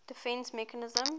defence mechanism